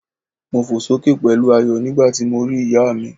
Mo fò sókè pẹ̀lú ayọ̀ nígbàti mo ri ìyá mi